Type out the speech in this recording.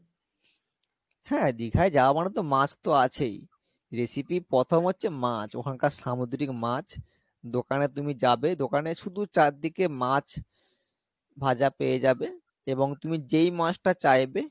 হ্যাঁ দীঘায় যাওয়া মানে তো মাছ তো আছেই recipe ইর প্রথম হচ্ছে মাছ ওখানকার সামুদ্রিক মাছ দোকানে তুমি যাবে দোকানে শুধু চারদিকে মাছ ভাজা পেয়ে যাবে এবং তুমি যেই মাছটা চাইবে,